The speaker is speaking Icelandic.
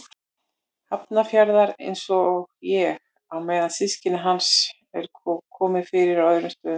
Hafnarfjarðar, einsog ég, á meðan systkinum hans er komið fyrir á öðrum stöðum.